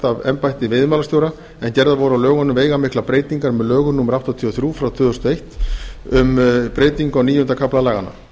af embætti veiðimálastjóra en gerðar voru á lögunum veigamiklar breytingar með lögum númer áttatíu og þrjú tvö þúsund og eitt um breytingu á níunda kafla laganna með